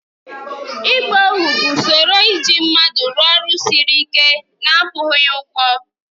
Ịgba ohu bụ usoro iji mmadụ rụọ ọrụ siri ike na-akwụghị ya ụgwọ.